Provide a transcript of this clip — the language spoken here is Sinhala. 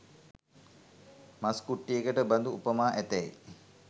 මස් කුට්ටියකට බඳු උපමා ඇතැයි